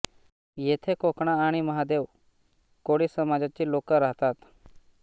येथे कोकणा आणि महादेव कोळी समाजाची लोक राहतात